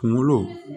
Kunkolo